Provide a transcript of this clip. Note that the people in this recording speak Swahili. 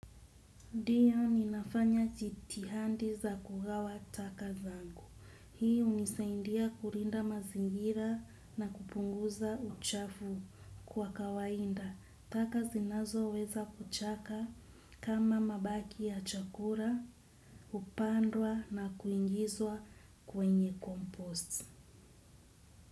Ndiyo ninafanya jitihada za kugawa taka zangu. Hii hunisaidia kulinda mazingira na kupunguza uchafu kwa kawaida. Taka zinazo weza kuchaka kama mabaki ya chakula, hupandwa na kuingizwa kwenye compost.